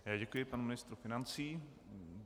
Já děkuji panu ministru financí.